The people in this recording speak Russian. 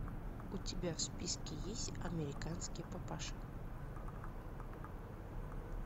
у тебя в списке есть американский папаша